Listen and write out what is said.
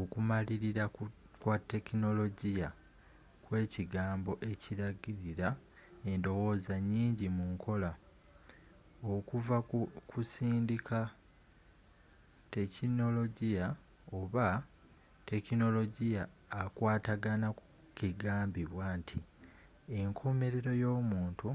okumalirira kwa tekinologiya kyekigambo ekiragirira endowooza nyingi mu nkola, okuva ku kusindika-tekinologiya oba tekinologiya akwatagana ku kigambibwa nti enkomelero y’omuntu